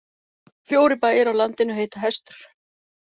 Fjórir bæir á landinu heita Hestur.